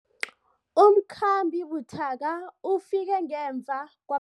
Umkhambi buthaka ufike ngemva kwa